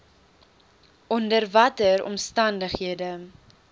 onder watter omstandighede